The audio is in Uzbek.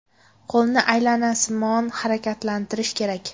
Qo‘lni aylanasimon harakatlantirish kerak.